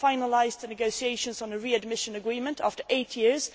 We have finalised the negotiations on a readmission agreement after eight years.